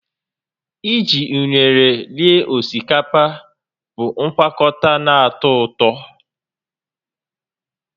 Iji unere rie osikapa bụ ngwakọta na-atọ ụtọ